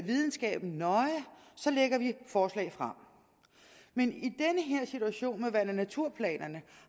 videnskaben nøje lægger vi forslag frem i situation med vand og naturplanerne